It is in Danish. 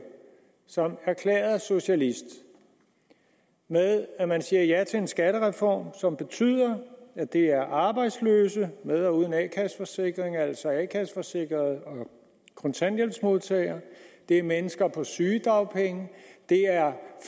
som erklæret socialist med at man siger ja til en skattereform som betyder at det er arbejdsløse med eller uden a kasse forsikring altså a kasse forsikrede og kontanthjælpsmodtagere det er mennesker på sygedagpenge det er